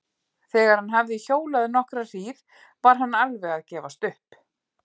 Þegar hann hafði hjólað nokkra hríð var hann alveg að gefast upp.